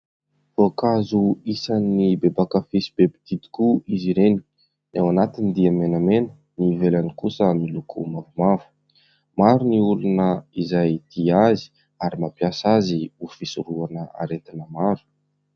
Voankazo isan'ny be mpankafỳ sy be mpitia tokoa izy ireny. Ny ao anatiny dia menamena, ny ivelany kosa miloko mavomavo. Maro ny olona izay tia azy ary mampiasa azy ho fisorohana aretina maro.